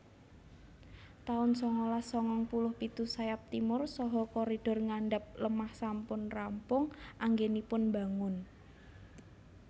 taun sangalas sangang puluh pitu Sayap Timur saha koridor ngandhap lemah sampun rampung anggenipun bangun